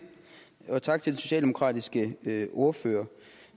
og tak til den socialdemokratiske ordfører